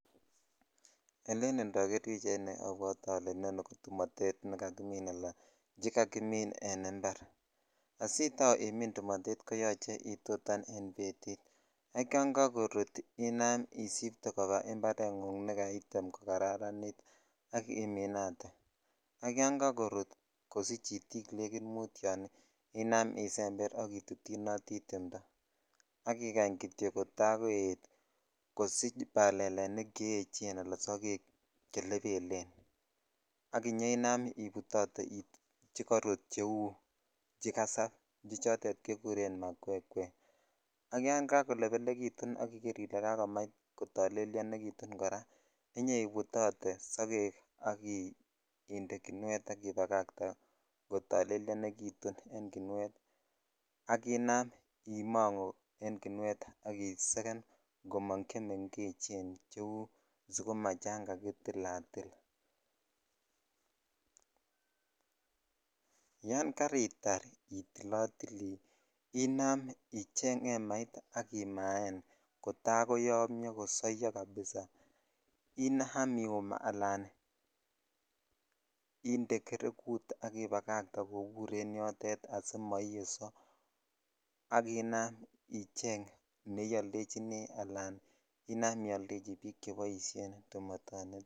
Elen indoger pichaini abwote ole inoni ko tumotet nekakimin ala che kakimin en impar asitau imin tumotet koyoche itau itutan tumotet en betit ak yan kakorut isipte koba imparengung ne kaitem ko karanit ak iminate ak yan kakorut kosich itiknekit mut yon inam isember ak itotyinoti timto ak ikany kityo kota koet kodich balalenik cheechen ala sogek che lebelen ak inyoinam ibutotee chekorut cheu che kasab che chotet kiguren makwekwee ak yan kakolelebekiutun aka yan kotolelyonitun kora inoibutote sogek ak inde kinuet ak ibagate ko tolelyonekitun en kinuet ak inam imongu ak isegen komong chemengechen cheu sukuma chan jakitilatil (puse) yan karitar itilotili inam icheng emait ak imaa koyomyo kabisa inam iyum alan inde gereguk jobur en yotet asimoiyeso ak ina icheng neioldechini ala ina ioldechi bik che boisioni tumotoniton.